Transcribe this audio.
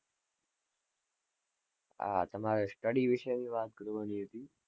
આ તમારે study વિસે વાત કરવા ની હતી.